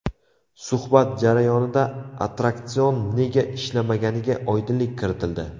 Suhbat jarayonida attraksion nega ishlamaganiga oydinlik kiritildi.